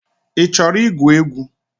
I chọrọ igwu egwu?